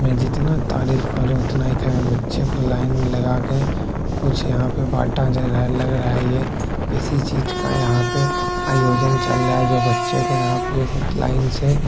मैं जितना तारीफ करो उतना बच्चे को लाइन में लगाके कुछ यहाँ पे लग रहा है ये किसी चीज का यहाँ पे आयोजन चल रहा है जो बच्चे को यहाँ पर लाइन से